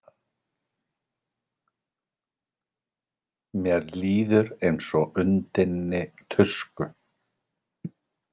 Mér líður eins og undinni tusku.